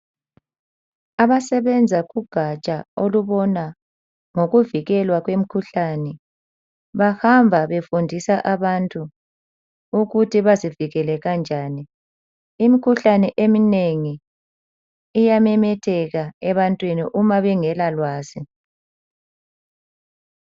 Abasebenza kugaja olubona ngokuvikelwa kwemikhuhlane bahamba befundisa abantu ukuthi bazivikele kanjani. Imikhuhlane eminengi iyamemetheka ebantwini uma bengela lwazi.